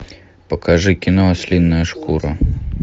покажи кино ослиная шкура